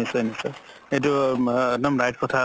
নিশ্চয় নিশ্চয় এইটো একদম right কথা